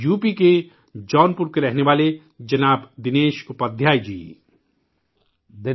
you P کے جونپور کے رہنے والے ، جناب دنیش اپادھیائے جی ،